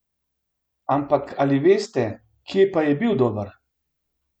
Ampak ali veste, kje pa je bil dober?